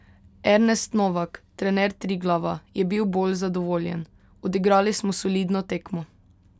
Ernest Novak, trener Triglava, je bil bolj zadovoljen: "Odigrali smo solidno tekmo.